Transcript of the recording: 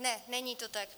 Ne, není to tak.